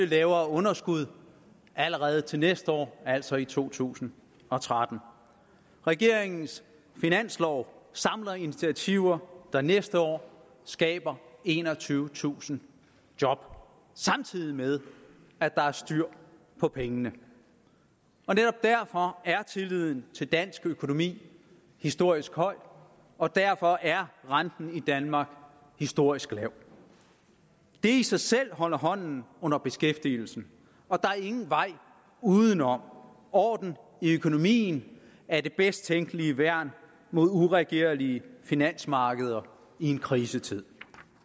lavere underskud allerede til næste år altså i to tusind og tretten regeringens finanslov samler initiativer der næste år skaber enogtyvetusind job samtidig med at der er styr på pengene netop derfor er tilliden til dansk økonomi historisk høj og derfor er renten i danmark historisk lav det i sig selv holder hånden under beskæftigelsen og der er ingen vej udenom at orden i økonomien er det bedst tænkelige værn mod uregerlige finansmarkeder i en krisetid